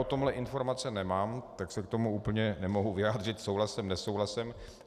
O tomhle informace nemám, tak se k tomu úplně nemohu vyjádřit souhlasem - nesouhlasem.